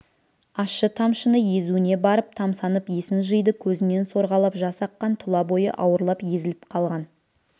ащы тамшыны езуіне барып тамсанып есін жиды көзінен сорғалап жас аққан тұла бойы ауырлап езіліп қалған